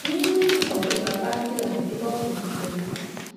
mímú ìbádọgba bá ìlànà tó bófin mu pẹlú